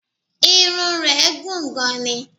Irun rẹ̀ gùn gan ni